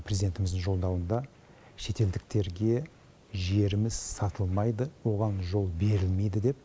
президентіміздің жолдауында шетелдіктерге жеріміз сатылмайды оған жол берілмейді деп